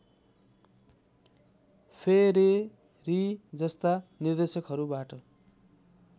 Ferreri जस्ता निर्देशकहरूबाट